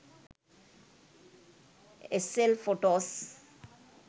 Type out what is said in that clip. sl photos